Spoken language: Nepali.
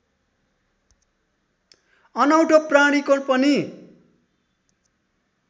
अनौठो प्राणीको पनि